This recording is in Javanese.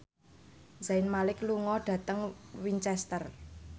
Zayn Malik lunga dhateng Winchester